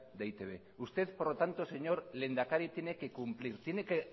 de e i te be usted por lo tanto señor lehendakari tiene que cumplir tiene que